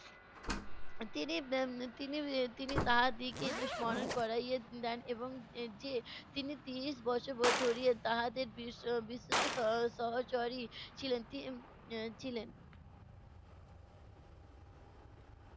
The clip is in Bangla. তিনি এর তিনি এর তিনি তাহার দিগকে স্মরণ করাইয়া দেন এবং এর যে তিনি তিরিশ বছর ব~ ধরিয়া তাহাদের বিশ~ বিশ্বস্ত সহ~ সহচরী ছিলেন ছিলেন।